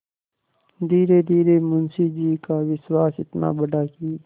धीरेधीरे मुंशी जी का विश्वास इतना बढ़ा कि